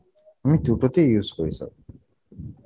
আমি দুটোতেই use করি sir